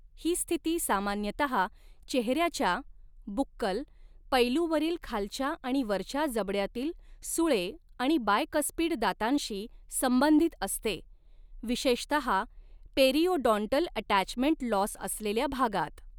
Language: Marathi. ही स्थिती सामान्यतहा चेहऱ्याच्या बुक्कल पैलूवरील खालच्या आणि वरच्या जबड्यातील सुळे आणि बायकस्पिड दातांशी संबंधित असते, विशेषतहा पेरिओडॉन्टल अटॅचमेंट लॉस असलेल्या भागात.